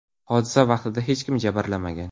Hodisa vaqtida hech kim jabrlanmagan.